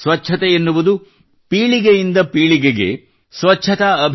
ಸ್ವಚ್ಛತೆ ಎನ್ನುವುದು ಪೀಳಿಗೆಯಿಂದ ಪೀಳಿಗೆಗೆ ಸಂಸ್ಕಾರವನ್ನು ವರ್ಗಾಯಿಸುವ ಜವಾಬ್ದಾರಿಯಾಗಿದೆ